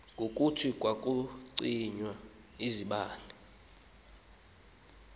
ngokuthi kwakucinywa izibane